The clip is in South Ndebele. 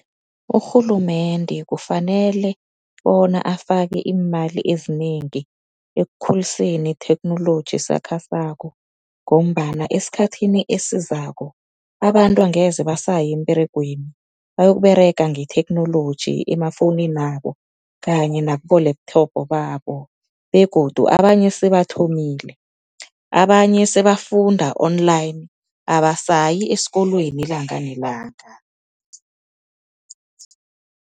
Urhulumende kufanele bona afake iimali ezinengi ekukhuliseni itheknoloji esakhasako, ngombana esikhathini esizako abantu angeze basaya emberegweni, bayokuberega ngetheknoloji emafowunini yabo kanye nakubo-laptop babo. Begodu abanye sebathomile abanye sebafunda online, abasayi esikolweni ilanga nelanga.